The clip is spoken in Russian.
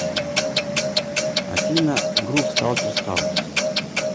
афина грув сталкерс хаус